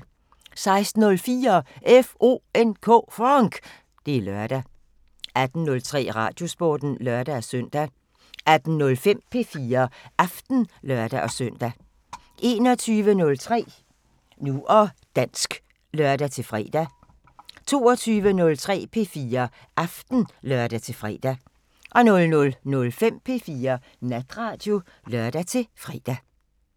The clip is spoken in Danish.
16:04: FONK! Det er lørdag 18:03: Radiosporten (lør-søn) 18:05: P4 Aften (lør-søn) 21:03: Nu og dansk (lør-fre) 22:03: P4 Aften (lør-fre) 00:05: P4 Natradio (lør-fre)